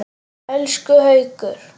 Elsku Haukur.